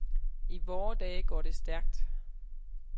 I vore dage går det stærkt.